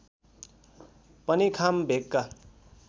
पनि खाम भेगका